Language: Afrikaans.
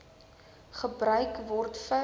gebruik word vir